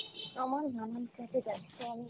আমার নানান কাজে ব্যাস্ত আমি।